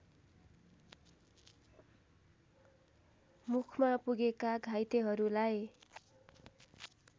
मुखमा पुगेका घाइतेहरूलाई